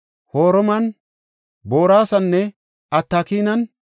Hormana, Boraasana, Atakaninne